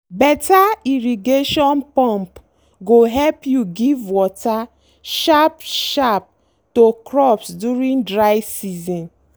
better irrigation pump go help you give water sharp-sharp to crops during dry season.